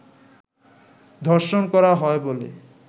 ধর্ষণ করা হয় বলে